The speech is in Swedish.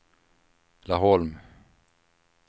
Laholm